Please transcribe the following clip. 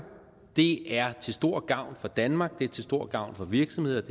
det er til stor gavn for danmark det er til stor gavn for virksomheder